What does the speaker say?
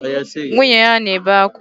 Nwunye ya na-ebe akwa.